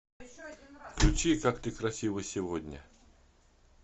включи как ты красива сегодня